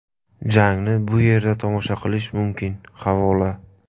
Jangni bu yerda tomosha qilish mumkin havola .